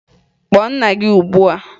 Kpọọ nna gị ugbua!